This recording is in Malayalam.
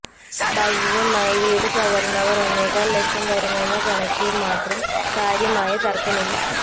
ഭാഗികമായി വീട് തകർന്നവർ ഒന്നേകാൽ ലക്ഷം വരുമെന്ന കണക്കിൽ മാത്രം കാര്യമായ തർക്കമില്ല